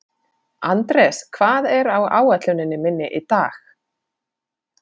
Anders, hvað er á áætluninni minni í dag?